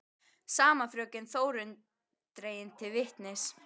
Sama fröken Þórunn dregin til vitnis.